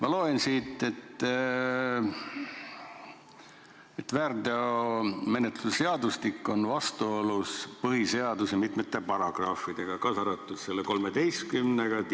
Ma loen siit, et väärteomenetluse seadustik on vastuolus põhiseaduse mitmete paragrahvidega, kaasa arvatud §-ga 13.